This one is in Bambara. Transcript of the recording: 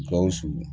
Gawusu